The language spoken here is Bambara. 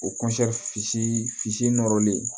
O fitiinin nɔrɔlen